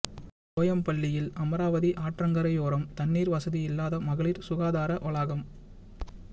கோயம்பள்ளியில் அமராவதி ஆற்றங்கரையோரம் தண்ணீர் வசதி இல்லாத மகளிர் சுகாதார வளாகம்